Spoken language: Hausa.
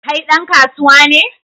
Kai dan kasuwa ne?